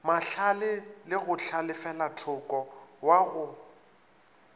mahlale le go hlalefelathoko wago